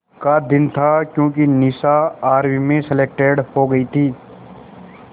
का दिन था क्योंकि निशा आर्मी में सेलेक्टेड हो गई थी